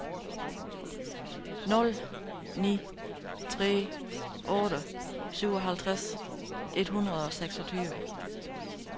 nul ni tre otte syvoghalvtreds et hundrede og seksogtyve